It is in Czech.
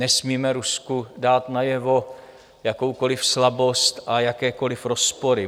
Nesmíme Rusku dát najevo jakoukoli slabost a jakékoli rozpory.